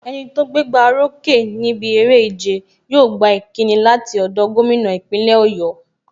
Enito gbé gbá o rókè níbi eré ìjẹ, yóò gba ìkíni láti ọ̀dọ̀ gómìnà ìpínlẹ̀ Oyo.